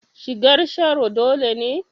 Shigar Sharo dole ne?